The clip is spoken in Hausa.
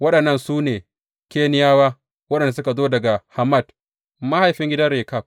Waɗannan su ne Keniyawa waɗanda suka zo daga Hammat, mahaifin gidan Rekab.